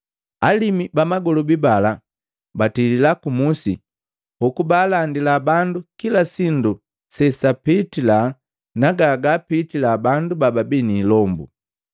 Alimu ba magolobi bala batilila ku musi. Hoku baalandila bandu kila sindu sesapitila na gagaapitila bandu bababii ni ilombu.